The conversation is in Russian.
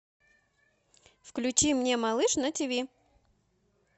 включи мне малыш на тв